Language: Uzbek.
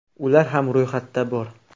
Ular ham ro‘yxatda bor.